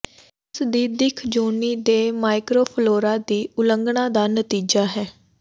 ਇਸ ਦੀ ਦਿੱਖ ਯੋਨੀ ਦੇ ਮਾਈਕਰੋਫਲੋਰਾ ਦੀ ਉਲੰਘਣਾ ਦਾ ਨਤੀਜਾ ਹੈ